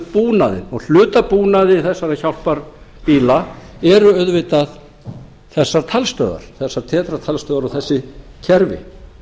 búnaðinn og hluti af búnaði í þessa hjálparbíla er auðvitað þessar talstöðvar þessar tetra talstöðvar og þessi kerfi